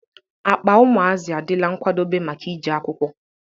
Akpa ụmụazi a dịla nkwadobe maka ị jee akwụkwọ